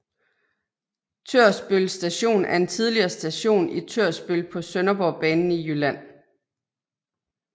Tørsbøl Station er en tidligere station i Tørsbøl på Sønderborgbanen i Jylland